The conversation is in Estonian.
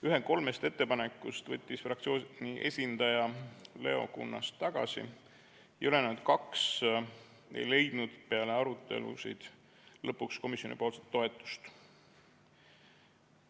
Ühe kolmest ettepanekust võttis fraktsiooni esindaja Leo Kunnas tagasi ja ülejäänud kaks ei leidnud peale arutelusid lõpuks komisjoni toetust.